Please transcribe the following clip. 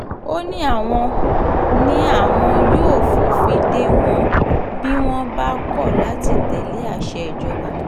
ó ní àwọn ní àwọn yóò fòfin dè wọ́n bí wọ́n bá kọ̀ láti tẹ̀lé àṣẹ ìjọba